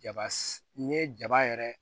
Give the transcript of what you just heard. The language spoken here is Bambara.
Jaba n'i ye jaba yɛrɛ